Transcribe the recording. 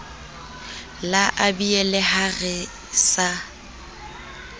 la abiele ha re sa